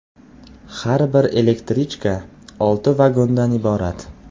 Har bir elektrichka olti vagondan iborat.